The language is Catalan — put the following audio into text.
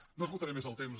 no esgotaré més el temps